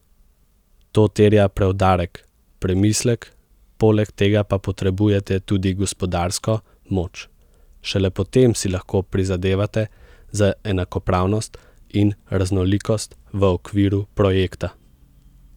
To terja preudarek, premislek, poleg tega pa potrebujete tudi gospodarsko moč, šele potem si lahko prizadevate za enakopravnost in raznolikost v okviru projekta.